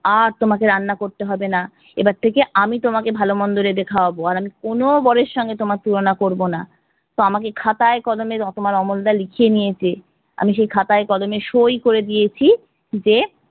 আর তোমাকে রান্না করতে হবেনা এবার থেকে আমি তোমাকে ভালো মন্দ রেঁধে খাওয়াবো, আর আমি কোনো বরের সঙ্গে তোমার তুলনা করবো না। তো আমাকে খাতায় কলমে তোমার অমল দা লিখিয়ে নিয়েছে, আমি সই খাতায় কলমে সই করে দিয়েছি যে